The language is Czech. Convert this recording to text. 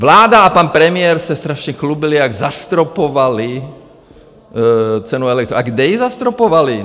Vláda a pan premiér se strašně chlubili, jak zastropovali cenu elektřiny, a kde ji zastropovali?